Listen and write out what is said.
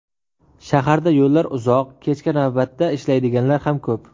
Shaharda yo‘llar uzoq, kechki navbatda ishlaydiganlar ham ko‘p.